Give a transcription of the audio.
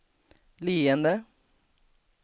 leende